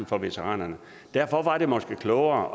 for veteranerne derfor var det måske klogere